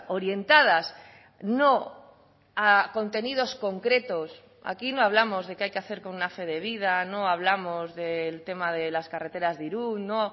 orientadas no a contenidos concretos aquí no hablamos de qué hay que hacer con una fe de vida no hablamos del tema de las carreteras de irún no